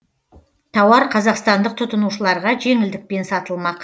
тауар қазақстандық тұтынушыларға жеңілдікпен сатылмақ